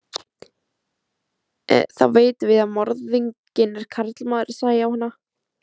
Þá vitum við að morðinginn er karlmaður, sagði Jóhanna.